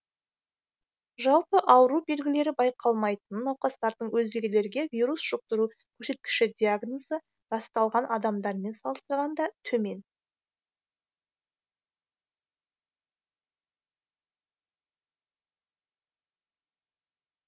жалпы ауру белгілері байқалмайтын науқастардың өзгелерге вирус жұқтыру көрсеткіші диагнозы расталған адамдармен салыстырғанда төмен